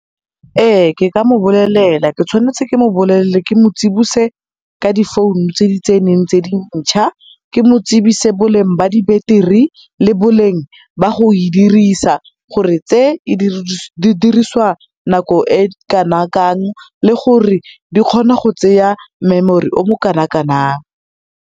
Ee, ke ka mo bolelela, ke tshwanetse ke mo bolelele ke mo tsibose ka difounu tse di tseneng tse dintšha, ke mo tsebise ka boleng ba di-battery le boleng ba go e dirisa, gore tse di diriswa nako e kana kang le gore di kgona go tseya memory o mo kana-kanang.